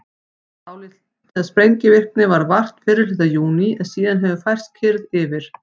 dálítillar sprengivirkni varð vart fyrri hluta júní en síðan hefur kyrrð færst yfir